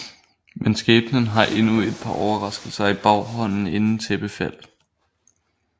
Men skæbnen har endnu et par overraskelser i baghånden inden tæppefald